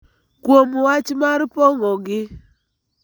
kuom wach mar pong�ogi.